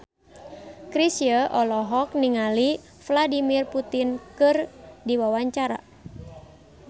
Chrisye olohok ningali Vladimir Putin keur diwawancara